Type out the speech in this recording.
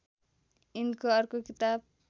यिनको अर्को किताब